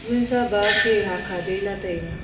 wunsa ba khe hahkha de la taiga.